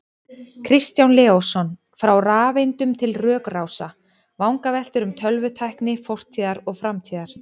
Kristján Leósson, Frá rafeindum til rökrása: Vangaveltur um tölvutækni fortíðar og framtíðar